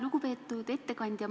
Lugupeetud ettekandja!